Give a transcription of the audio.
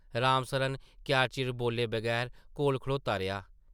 राम सरन क्या चिर बोल्ले बगैर कोल खड़ोता रेहा ।